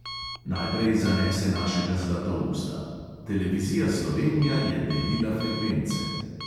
Najprej zanese našega zlatousta: "televizija slovenija je delila frekvence …"